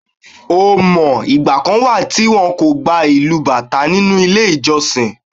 O mọ̀, ìgbà kan wà tí wón kò gba ìlù Bàtá nínú ilé ìjọsìn.